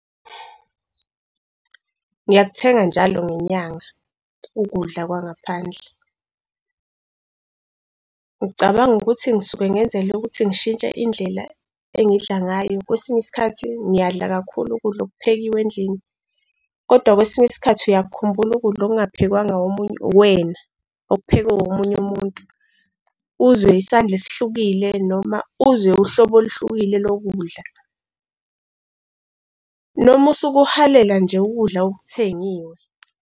Ngiyakuthenga njalo ngenyanga ukudla kwangaphandle. Ngicabanga ukuthi ngisuke ngenzela ukuthi ngishintshe indlela engidla ngayo. Kwesinye isikhathi ngiyadla kakhulu ukudla okuphekiwe endlini kodwa kwesinye isikhathi uyakukhumbula ukudla okungaphekwanga omuney, uwena okuphekwe omunye umuntu, uzwe isandla esihlukile noma uzwe uhlobo oluhlukile lokudla. Noma usuke uhalela nje ukudla okuthengiwe.